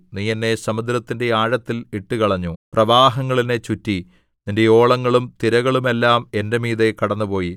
നീ എന്നെ സമുദ്രത്തിന്റെ ആഴത്തിൽ ഇട്ടുകളഞ്ഞു പ്രവാഹങ്ങൾ എന്നെ ചുറ്റി നിന്റെ ഓളങ്ങളും തിരകളുമെല്ലാം എന്റെ മീതെ കടന്നുപോയി